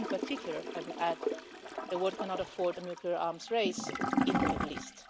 In particular, I would add, the world cannot afford a nuclear arms race in the Middle East.